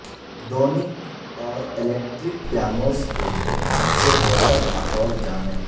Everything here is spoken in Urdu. دونک اور الیکٹرک پیانوس کے لئے سب سے بہتر ماحول جانیں